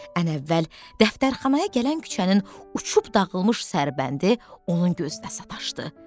Ən əvvəl dəftərxanaya gələn küçənin uçub dağılmış sərbəndi onun gözünə sataşdı.